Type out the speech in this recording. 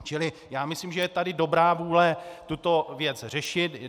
Čili myslím si, že je tady dobrá vůle tuto věc řešit.